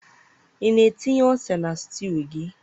ị na-etinye ose na stew gị?